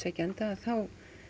þá